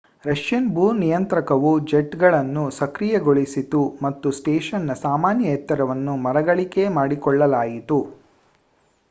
Russian ಭೂ ನಿಯಂತ್ರಕವು ಜೆಟ್‌ಗಳನ್ನು ಸಕ್ರಿಯಗೊಳಿಸಿತು ಮತ್ತು ಸ್ಟೇಷನ್‌ನ ಸಾಮಾನ್ಯ ಎತ್ತರವನ್ನು ಮರುಗಳಿಕೆ ಮಾಡಿಕೊಳ್ಳಲಾಯಿತು